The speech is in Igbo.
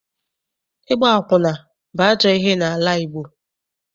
Ịgba akwụna bụ ajọ ihe n'ala Igbo.